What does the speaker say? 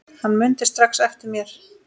Hann mundi strax eftir mér.